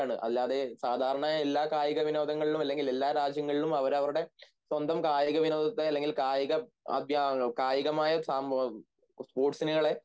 അല്ലാതെ സാദാരണ എല്ലാക്കായികവിനോദങ്ങളിലും അല്ലെങ്കിൽ എല്ലാ രാജ്യങ്ങളിലും അവരവരുടെ സ്വന്തം കായികവിനോദത്തെ അല്ലെങ്കിൽ കായികമായ സ്പോർട്സിനെ